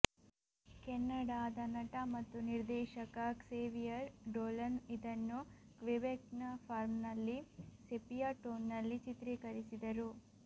ಕೆನಡಾದ ನಟ ಮತ್ತು ನಿರ್ದೇಶಕ ಕ್ಸೇವಿಯರ್ ಡೋಲನ್ ಇದನ್ನು ಕ್ವಿಬೆಕ್ನ ಫಾರ್ಮ್ನಲ್ಲಿ ಸೆಪಿಯ ಟೋನ್ ನಲ್ಲಿ ಚಿತ್ರೀಕರಿಸಿದರು